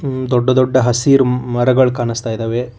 ಉ ದೊಡ್ಡ ದೊಡ್ಡ ಹಸಿರ ಮರಗಳ ಕಾಣಿಸ್ತಾ ಇದಾವೆ.